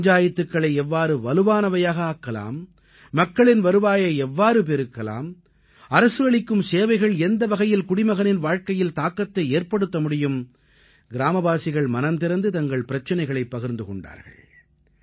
பஞ்சாயத்துக்களை எவ்வாறு வலுவானவையாக ஆக்கலாம் மக்களின் வருவாயை எவ்வாறு பெருக்கலாம் அரசு அளிக்கும் சேவைகள் எந்த வகையில் குடிமகனின் வாழ்க்கையில் தாக்கத்தை ஏற்படுத்த முடியும் கிராமவாசிகள் மனம் திறந்து தங்கள் பிரச்சனைகளைப் பகிர்ந்து கொண்டார்கள்